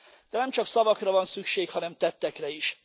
De nemcsak szavakra van szükség, hanem tettekre is.